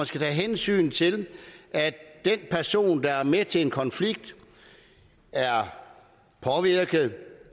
skal tage hensyn til at den person der er med til en konflikt er påvirket